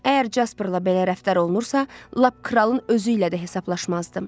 Əgər Jasperlə belə rəftar olunmursa, lap kralın özü ilə də hesablaşmazdım.